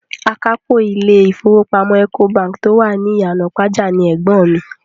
Akápò ilé ìfowópamọ́ Ecobank tí ó wà ní Ìyànàpájà ni ẹ̀gbọ́n mi.